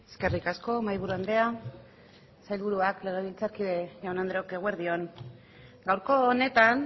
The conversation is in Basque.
eskerrik asko mahaiburu andrea sailburuak legebiltzarkideok jaun andreok eguerdi on gaurko honetan